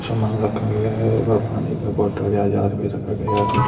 सामान रखा गया है पानी का बोतल रखा गया है।